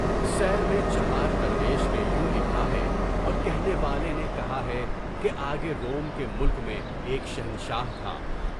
سیر میں چہار درویش کے یوں لکھا ہے اور کہنے والے نے کہا ہے کہ آگے روم کے ملک میں ایک شہنشاہ تھا۔